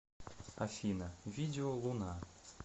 афина видео луна